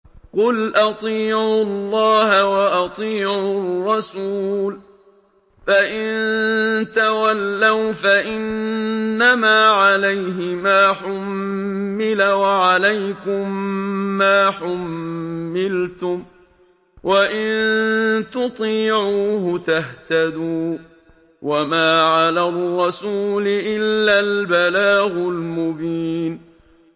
قُلْ أَطِيعُوا اللَّهَ وَأَطِيعُوا الرَّسُولَ ۖ فَإِن تَوَلَّوْا فَإِنَّمَا عَلَيْهِ مَا حُمِّلَ وَعَلَيْكُم مَّا حُمِّلْتُمْ ۖ وَإِن تُطِيعُوهُ تَهْتَدُوا ۚ وَمَا عَلَى الرَّسُولِ إِلَّا الْبَلَاغُ الْمُبِينُ